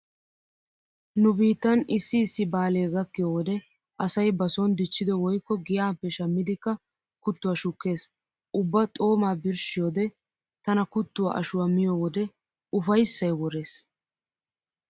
Nu biittan issi issi baalee gakkiyo wode asay ba sooni dichchido woykko giyappe shammidikka kuttuwa shukkees. Ubba xoomaa birshshiyode tana kuttuwa ashuwa miyo wode ufayssay worees.